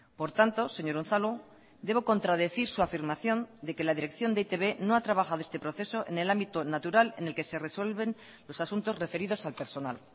por tanto señor unzalu debo contradecir su afirmación de que la dirección de e i te be no ha trabajado este proceso en el ámbito natural en el que se resuelven los asuntos referidos al personal